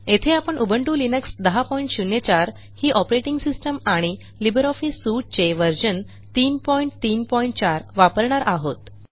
येथे आपण Ubuntu Linux 1004 ही ऑपरेटिंग सिस्टम आणि लिब्रिऑफिस सूट चे व्हर्शन 334 वापरणार आहोत